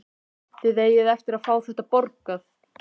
Þið eigið eftir að fá þetta borgað!